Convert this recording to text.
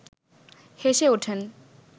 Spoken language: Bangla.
হেসে ওঠেন